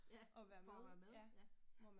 Ja, for at være med, ja